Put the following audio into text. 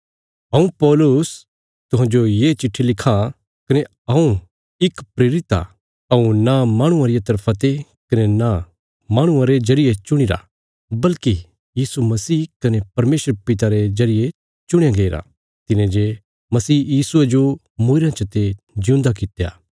हऊँ पौलुस तुहांजो ये चिट्ठी लिखां कने हऊँ इक प्रेरित आ हऊँ न माहणुआं रिया तरफा ते कने न माहणुआं रे जरिये चुणीरा बल्कि यीशु मसीह कने परमेशर पिता रे जरिये चुणया गईरा तिने जे मसीह यीशुये जो मूईरयां चते जिऊंदा कित्या